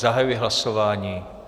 Zahajuji hlasování.